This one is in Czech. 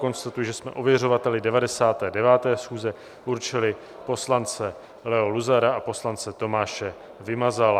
Konstatuji, že jsme ověřovateli 99. schůze určili poslance Leo Luzara a poslance Tomáše Vymazala.